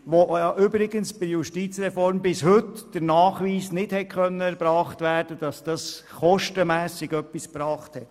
Bei Letzterer konnte übrigens bis heute der Nachweis nicht erbracht werden, dass diese kostenmässig etwas gebracht hat.